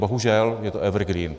Bohužel, je to evergreen.